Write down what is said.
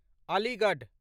Aligarh